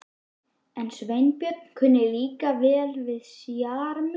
En Sveinbjörn kunni líka að vera sjarmör.